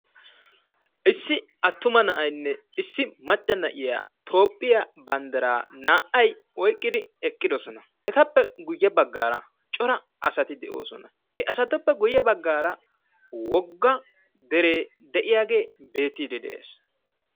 issi attuma na'aynne issi macca na'iya toophiya banddiraa naa'ay oyqqidi eqqidosona. he asatuppe guye bagaara deree de'iyaagee beetiidi de'ees.